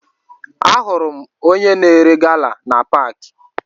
Ahụrụ m onye na-ere gala na paakị